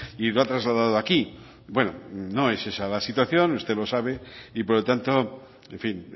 y lo ha trasladado aquí bueno no es esa la situación usted lo sabe y por lo tanto en fin